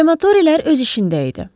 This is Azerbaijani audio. Krematoriyalar öz işində idi.